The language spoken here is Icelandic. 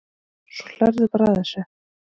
Svo hlærðu bara að þessu!